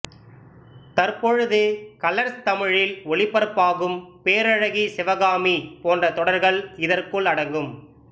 தற்பொழுது கலர்ஸ் தமிழ்லில் ஒளிபரப்பாகும் பேரழகி சிவகாமி போன்ற தொடர்கள் இதற்குல் அடங்கும்